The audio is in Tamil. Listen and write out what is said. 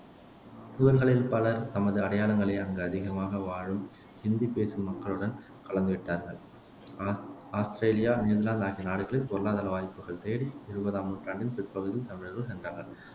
இவர்களில் பலர் தமது அடையாளங்களை அங்கு அதிகமாக வாழும் இந்தி பேசும் மக்களுடன் கலந்துவிட்டார்கள் ஆ ஆஸ்த்திரேலியா, நியூசிலாந்து ஆகிய நாடுகளில் பொருளாதார வாய்ப்புகள் தேடி இருபதாம் நூற்றாண்டின் பிற்பகுதியில் தமிழர்கள் சென்றார்கள்